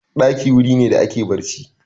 Ɗaki wuri ne da ake barci.